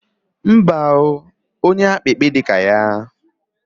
Mba o onye akpikpi di ka ya!